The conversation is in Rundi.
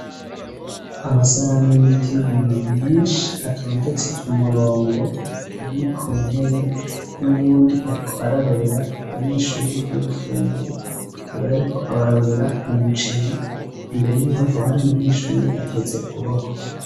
Amasahani y'ivyuma menshi atondetse ku murongo ari ku ntebe, n'uwundi ariko ararurira abanyeshuri ivyo gufungura, akaba yariko abarurira umuceri, imbere yiwe hakaba hari umunyeshuri ateze ukuboko.